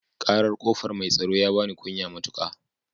Ƙarar ƙofa mai tsaro ya bani kunya matuƙa